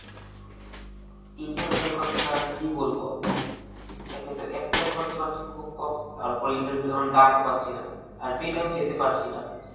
interview এর কথা আর কি বলবো? একেতো apply করতে পারছি খুব কম, তারপর interview এর কোনো ডাকই পাছিনা. আর পেলেও যেতে পাছিনা.